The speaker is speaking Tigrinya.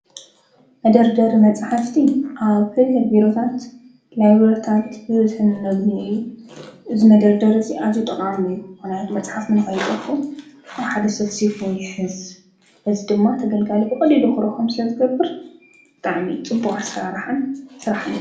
መደርደርቲ መፅሓፍቲ ኣብ ሕድሕድ ቢሮታት፣ ላይብረሪታት ብበዝሒ እነግንዮ እዩ። እዚ መደርደሪ እዙይ ኣዝዩ ጠቃሚ እዩ ምክንያቱ መፅሓፍ ንከይጠፈእ ኣብ ሓደ ሰፍሲፉ ይሕዝ እዚ ድማ ተገልጋሊ ብቀሊሉ ክረክቦም ስለዝገብር ብጣዕሚ ፅቡቅ ኣሰራርሓን ስራሕን እዩ።